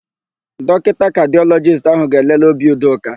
Dọkịta kadịọlọjist áhụ̀ ga-elele obi Udoka.